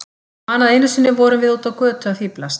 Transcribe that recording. Ég man að einu sinni vorum við úti á götu að fíflast.